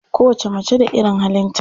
Kowacce mace da irin halinta.